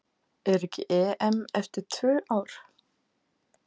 Er ekki EM eftir tvö ár?